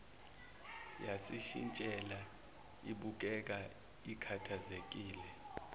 yayishintshile ibukeka ikhathazekile